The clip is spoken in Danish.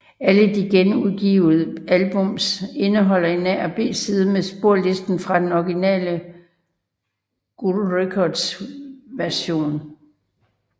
Alle de genudgivet albums indeholder en A og B side med sporlisten fra den originale Gull Records version